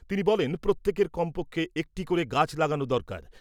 তিনি বলেন , প্রত্যেকের কমপক্ষে একটি করে গাছ লাগানো দরকার ।